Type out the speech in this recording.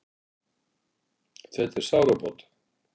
Þetta er sárabót